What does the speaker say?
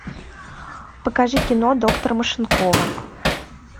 покажи кино доктор машинкова